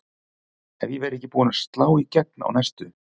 Ef ég verð ekki búin að slá í gegn á næstu